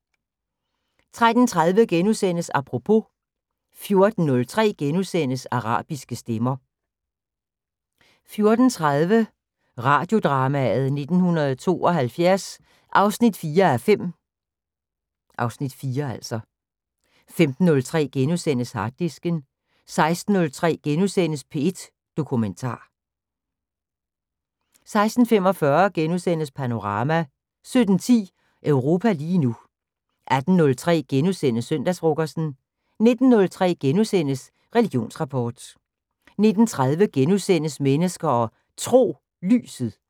13:30: Apropos * 14:03: Arabiske stemmer * 14:30: Radiodrama: 1972 4:5 (Afs. 4) 15:03: Harddisken * 16:03: P1 Dokumentar * 16:45: Panorama * 17:10: Europa lige nu 18:03: Søndagsfrokosten * 19:03: Religionsrapport * 19:30: Mennesker og Tro: Lyset *